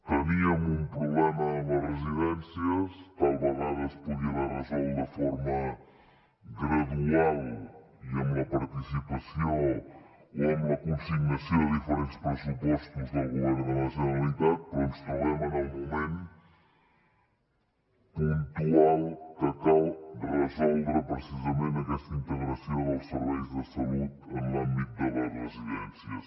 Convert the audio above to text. teníem un problema a les residències tal vegada es podria haver resolt de forma gradual i amb la participació o amb la consignació de diferents pressupostos del govern de la generalitat però ens trobem en el moment puntual que cal resoldre precisament aquesta integració dels serveis de salut en l’àmbit de les residències